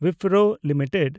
Wipro limited